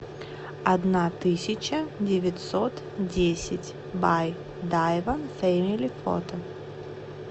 одна тысяча девятьсот десять бай дайван фэмили фото